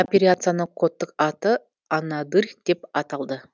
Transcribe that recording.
операцияның кодтық аты анадырь деп аталды